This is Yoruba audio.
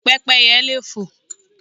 Pẹ́pẹ́yẹ leè fo